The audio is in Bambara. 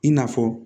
I n'a fɔ